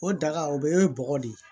O daga o bɛ ye bɔgɔ de ye